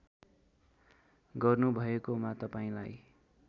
गर्नुभएकोमा तपाईँलाई